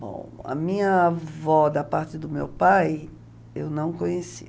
Bom, a minha avó da parte do meu pai, eu não conheci.